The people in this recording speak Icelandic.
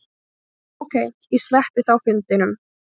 Ókei, ég sleppi þá fundinum.